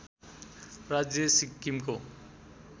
राज्य सिक्किमको